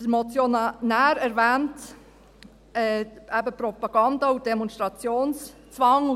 Der Motionär erwähnt Propaganda und Demonstrationszwang.